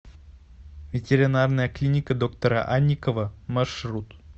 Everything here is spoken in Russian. ветеринарная клиника доктора анникова маршрут